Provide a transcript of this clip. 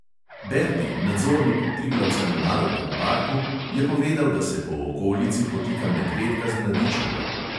Berti, nadzornik v triglavskem narodnem parku, je povedal, da se po okolici potika medvedka z mladičema.